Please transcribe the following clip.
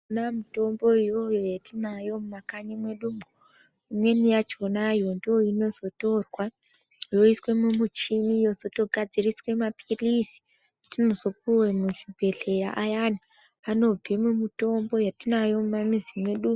Yona mitombo iyoyo yetinayo mumakanyi mwedumwo imweni yakona ndoinozotorwa yoiswa mumuchini yotogadziriswe mapilizi etinozopuwe muzvibhehleya ayani anobva mumitombo yetinayo mumizi mwedu.